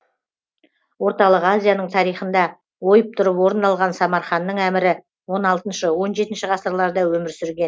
орталық азияның тарихында ойып тұрып орын алған самарханның әмірі он алтыншы он жетінші ғасырларда өмір сүрген